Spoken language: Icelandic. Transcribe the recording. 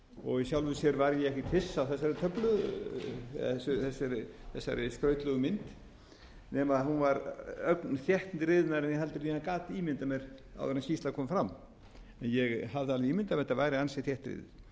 og í sjálfu sér varð ég ekkert hissa á þessari töflu eða þessari skrautlegu mynd nema að hún var ögn þéttriðnari en ég gat ímyndað mér áður en skýrslan kom fram en ég hafði alveg ímyndað mér að þetta væri ansi þéttriðið þá er